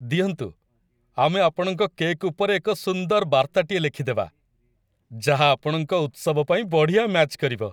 ଦିଅନ୍ତୁ, ଆମେ ଆପଣଙ୍କ କେକ୍ ଉପରେ ଏକ ସୁନ୍ଦର ବାର୍ତ୍ତାଟିଏ ଲେଖିଦେବା, ଯାହା ଆପଣଙ୍କ ଉତ୍ସବ ପାଇଁ ବଢ଼ିଆ ମ୍ୟାଚ୍ କରିବ।